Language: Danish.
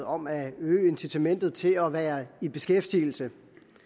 om at øge incitamentet til at være i beskæftigelse